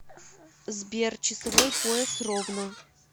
сбер часовой пояс ровно